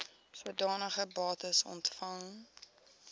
sodanige bates ontvang